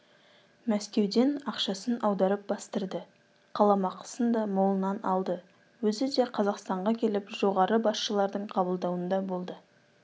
мәскеуден ақшасын аударып бастырды қаламақысын да молынан алды өзі де қазақстанға келіп жоғары басшылардың қабылдауында болды